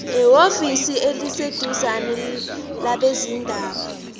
ehhovisi eliseduzane labezindaba